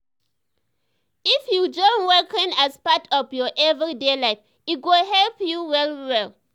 if you join walking as part of your everyday life e go help you well well.